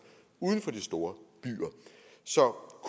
uden for de store byer så